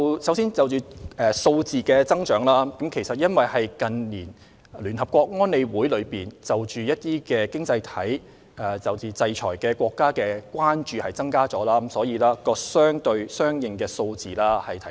首先，就數字的增長，因為聯合國安理會近年增加對一些經濟體、制裁國家的關注，所以相應的個案數字有所提升。